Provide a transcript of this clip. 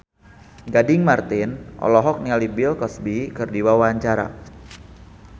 Gading Marten olohok ningali Bill Cosby keur diwawancara